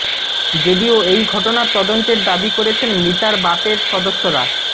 যদিও এই ঘটনার তদন্তের দাবি করেছেন মৃতার বাপের সদস্যরা